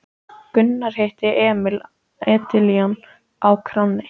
Gunnar hitti Emil Edilon á kránni.